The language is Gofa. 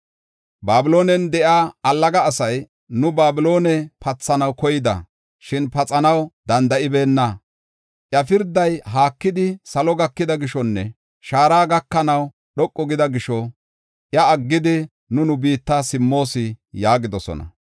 Babiloonen de7iya allaga asay, “Nu Babiloone pathanaw koyida; shin paxanaw danda7ibeenna. Iya pirday haakidi salo gakida gishonne shaara gakanaw dhoqu gida gisho iya aggidi nu biitta simmoos” yaagidosona.